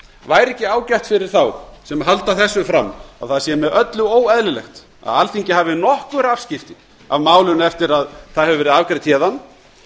væri ekki ágætt fyrir þá sem halda þessu fram að það sé með öllu óeðlilegt að alþingi hafi nokkur afskipti af málinu eftir að það hefur verið afgreitt héðan